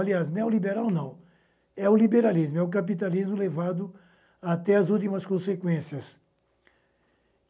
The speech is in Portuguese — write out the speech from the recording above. Aliás, neoliberal não, é o liberalismo, é o capitalismo levado até as últimas consequências.